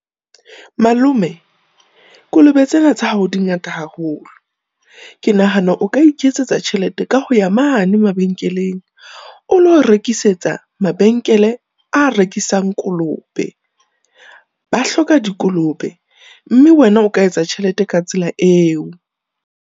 Malome kolobe tsena tsa hao di ngata haholo. Ke nahana o ka iketsetsa tjhelete ka ho ya mane mabenkeleng, o lo rekisetsa mabenkele a rekisang kolobe. Ba hloka dikolobe mme wena o ka etsa tjhelete ka tsela eo.